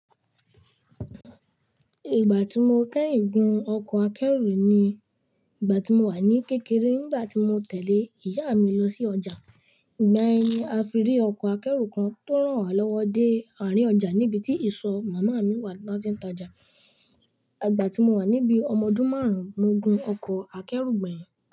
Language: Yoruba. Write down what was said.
Ìgbà tí mo kẹ́yìn gun ọkọ̀ akẹ́rù ni ìgbà tí mo wà ní kékeré nígbà tí mo tẹ̀lé ìyá mi lọ sí ọjà. Ìgbà yẹn, a fi rí ọkọ̀ akẹ́rù kan tó rán wa lọ́wọ dé àárín ọjà níbi tí ìsọ̀ màmá mi wà láti ń ta ọjà. Ìgbà tí mo wà níbí ọmọdún márùn-ún, mo gun ọkọ̀ akẹ́rù gbẹ̀yìn.